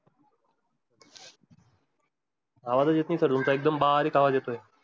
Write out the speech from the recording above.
आवाज चं येत sir नाही तुमचा एकदम बारीक येतोय.